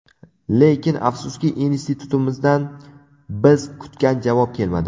Lekin afsuski, institutimizdan biz kutgan javob kelmadi.